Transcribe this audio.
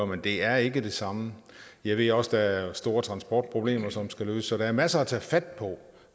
men det er ikke det samme jeg ved også at der er store transportproblemer som skal løses så der er masser at tage fat på